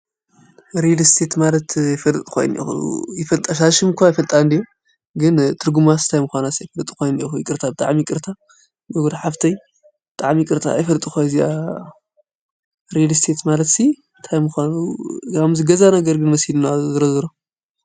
ሪልስቴት ማለት ኣፈልጥኽዋይ እኒኤኹ፣ እታ ሽም እኳ ይፈልጣ እንድየ ግን ትርጕማስ ታይ ምዃናስ ኣይፈልጥኩዋን እኒአኹ ይቕርታ ብጥዕሚ ይቅርታ ብጕዳ ሓፍተይ ጣዕሚ ይቅርታ ኣይፈልጥኽወን እዚኣ ሪሊስቴት ማለትሲ ታይ ምዃኑ ገዛ ነገር እዩ መሲሉኒ ዝሮዘሮ፡፡